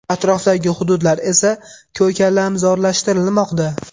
Atrofdagi hududlar esa ko‘kalamzorlashtirilmoqda.